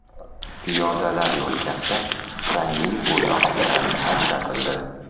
Piyodalar yo‘lkasi rangli bo‘yoq bilan ajratildi.